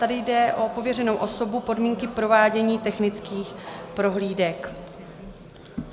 Tady jde o pověřenou osobu, podmínky provádění technických prohlídek.